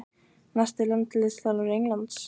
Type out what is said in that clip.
Næsti landsliðsþjálfari Englands?